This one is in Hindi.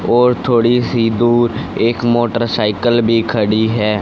और थोड़ी सी दूर एक मोटरसाइकल भी खड़ी है।